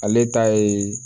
Ale ta ye